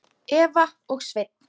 Eva og Sveinn.